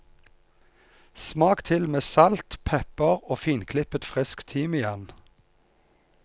Smak til med salt, pepper og finklippet frisk timian.